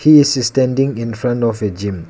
he is standing infront of a gym.